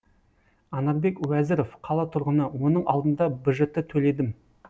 анарбек уәзіров қала тұрғыны оның алдында бжт төледім